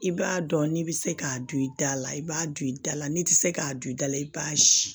I b'a dɔn n'i bɛ se k'a dun i dala i b'a don i da la n'i tɛ se k'a don i da la i b'a sin